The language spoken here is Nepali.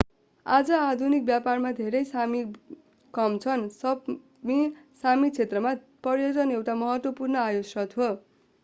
आज आधुनिक व्यापारमा धेरै सामी काम गर्छन् सपमी सामी क्षेत्रमा पर्यटन एउटा महत्त्वपूर्ण आयस्रोत हो